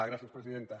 gràcies presidenta